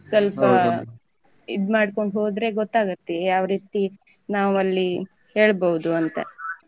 ಸ್ವಲ್ಪ ಇದ್ ಮಾಡ್ಕೊಂಡು ಹೋದ್ರೆ ಗೊತ್ತಾಗುತ್ತೆ ಯಾವ್ ರೀತಿ ನಾವ್ ಅಲ್ಲಿ ಹೇಳ್ಬೋದು ಅಂತ.